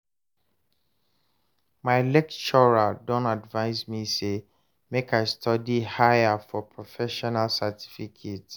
my lecturer don advice me say make I study higher for professional certificate